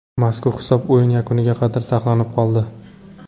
Mazkur hisob o‘yin yakuniga qadar saqlanib qoldi.